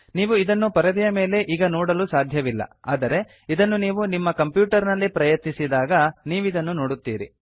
ನೀವು ಇದನ್ನು ಪರದೆಯ ಮೇಲೆ ಈಗ ನೋಡಲು ಸಾಧ್ಯವಿಲ್ಲ ಆದರೆ ಇದನ್ನು ನೀವು ನಿಮ್ಮ ಕಂಪ್ಯೂಟರ್ ನಲ್ಲಿ ಪ್ರಯತ್ನಿಸಿದಾಗ ನೀವದನ್ನು ನೋಡುತ್ತೀರಿ